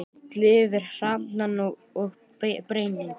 Hellið yfir hafrana og berin.